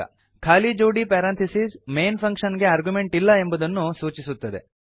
ಖಾಲಿ ಜೋಡಿ parenthesis main function ಗೆ ಆರ್ಗ್ಯುಮೆಂಟ್ ಇಲ್ಲ ಎಂಬುದನ್ನು ಸೂಚಿಸುತ್ತದೆ